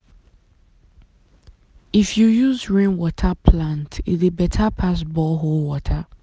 if you use rainwater water plant e dey better pass borehole water.